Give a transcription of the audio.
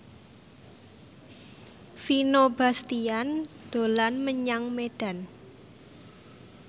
Vino Bastian dolan menyang Medan